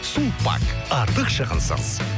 сулпак артық шығынсыз